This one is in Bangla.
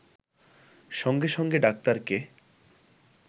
সঙ্গে সঙ্গে ডাক্তারকে